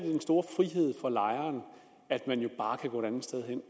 store frihed for lejeren at man jo bare kan gå et andet sted hen